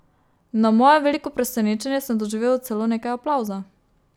Na moje veliko presenečenje sem doživel celo nekaj aplavza.